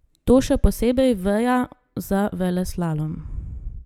To še posebej veja za veleslalom.